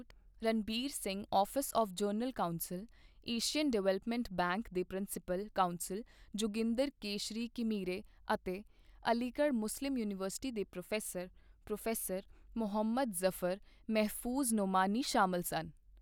Ranbir Singh office of general counsel, Asian development bank ਦੇ principal counsel Joginder Keshari Ghimire ਅਤੇ Aligarh Muslim university ਦੇ professor, professor Muhammad Zafar Mahfooz Nomani ਸ਼ਾਮਲ ਸਨ।